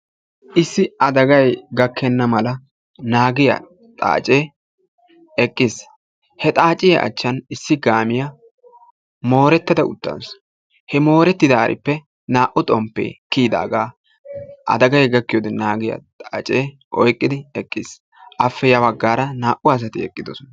Issi adagay gakkena mala naagiyaa xaace eqqiisi. he xaaciya achchan issi kaamiyaa moorettada uttaasu, he moorettidaaripe naa''u xomppe kiyyidaaga adaggay gakkiyoode naagiyaa xaace oyqqidi eqqiis. afe ya baggaara naa''u asati eqqidoosona.